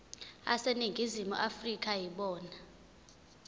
aseningizimu afrika yibona